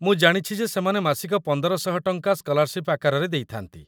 ମୁଁ ଜାଣିଛି ଯେ ସେମାନେ ମାସିକ ୧୫୦୦ ଟଙ୍କା ସ୍କଲାର୍‌ସିପ୍‌ ଆକାରରେ ଦେଇଥାନ୍ତି |